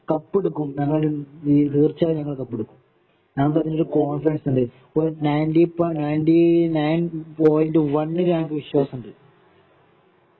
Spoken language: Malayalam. കപ്പെടുക്കും ഞങ്ങള് തീര്ച്ചയായും ഞങ്ങള് കപ്പെടുക്കും ഞങ്ങൾക്കതിന്റെ കോനഫിഡെൻസ് ഉണ്ട് ninety per ninety nine point വണ്ണില് നമുക്ക് വിശ്വാസം ഉണ്ട്